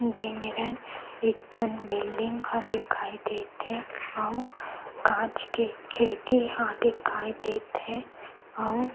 दे मेरन एक ठन बिल्डिंग ह दिखाई देत हे अउ कांच के खिड़की ह दिखाई देत हे अउ --